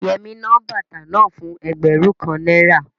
Yẹmí ná bàtà náà fún ẹgbẹ̀rún kan náírà